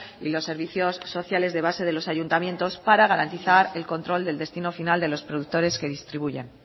y los servicios sociales de base de los ayuntamientos para garantizar el control del destino final de los productores que distribuyan